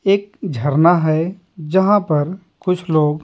एक झरना है जहां पर कुछ लोग --